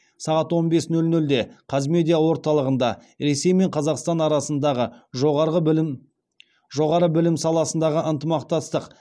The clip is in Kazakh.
сағат он бес нөл нөлде қазмедиа орталығында ресей мен қазақстан арасындағы жоғары білім саласындағы ынтымақтастық